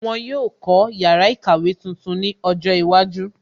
Wọn yóò kó yàrá ìkàwé tuntun ní ọjọ́ iwájú